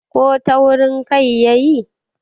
ko taurin Kai ya yi?